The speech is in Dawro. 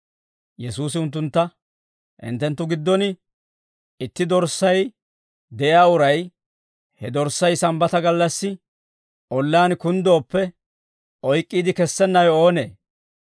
Yesuusi unttuntta, «Hinttenttu giddon itti dorssay de'iyaa uray, he dorssay Sambbata gallassi ollaan kunddooppe, oyk'k'iide kessennawe oonee?